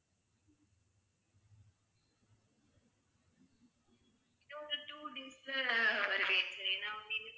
within two weeks ல வருவேன் sir.